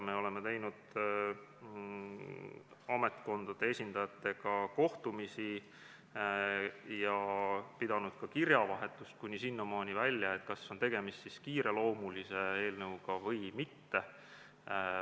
Me oleme teinud ametkondade esindajatega kohtumisi ja pidanud ka kirjavahetust, kuni sinnamaani välja, et arutada, kas tegemist on kiireloomulise eelnõuga või mitte.